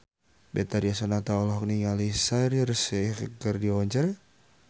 Betharia Sonata olohok ningali Shaheer Sheikh keur diwawancara